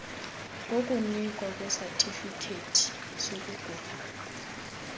wokunikwa kwesatifikhethi sokugula